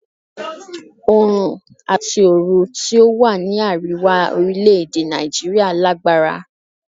Oòrùn àti oru tí ó wà ní àríwá orílè-èdè Nàìjíríà lágbára.